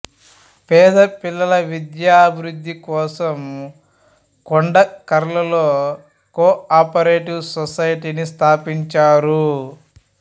పేద పిల్లల విద్యాభివృద్ధికోసం కొండకర్ల లో కోఆపరేటివ్ సొసైటీని స్థాపించారు